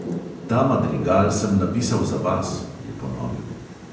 Ta madrigal sem napisal za vas, je ponovil.